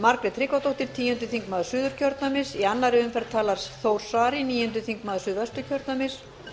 margrét tryggvadóttir tíundi þingmaður suðurkjördæmis í annarri umferð talar þór saari níundi þingmaður suðvesturkjördæmis